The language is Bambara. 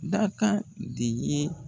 Dakan de ye